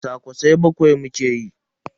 Kwasa-kwasai bakwai muke yi.